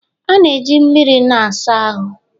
a na-eji mmiri na-asa ahụ